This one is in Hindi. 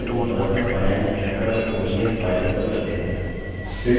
चलिए अपनी personalfinancetracker ods file open करते हैं